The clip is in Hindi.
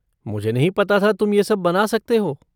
मुझे नहीं पता था तुम ये सब बना सकते हो।